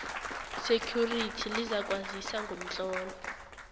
security lizakwazisa ngomtlolo